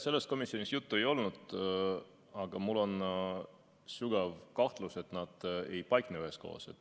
Sellest komisjonis juttu ei olnud, aga mul on sügav kahtlus, et nad ei paikne üheskoos.